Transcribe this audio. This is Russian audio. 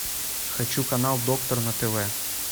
хочу канал доктор на тв